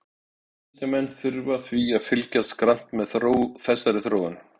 Vísindamenn þurfa því að fylgjast grannt með þessari þróun.